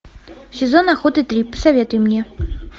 сезон охоты три посоветуй мне